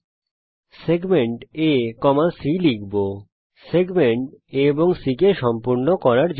আমরা রেখাংশ AC কে সম্পূর্ণ করার জন্যে রেখাংশ A C করব